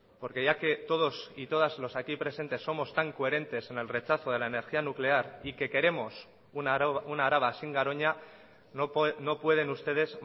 porque ya que todos y todas los aquí presentes somos tan coherentes en el rechazo de la energía nuclear y que queremos una araba sin garoña no pueden ustedes